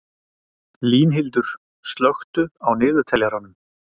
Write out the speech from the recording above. Línhildur, slökktu á niðurteljaranum.